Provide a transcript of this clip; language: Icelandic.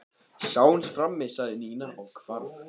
Sjáumst frammi sagði Nína og hvarf.